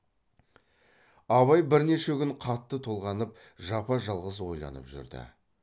абай бірнеше күн қатты толғанып жапа жалғыз ойланып жүрді